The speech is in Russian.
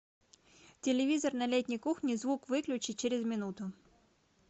телевизор на летней кухне звук выключи через минуту